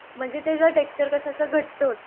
म्हणजे त्याचा टेक्श्चर कसा घट्ट होतो.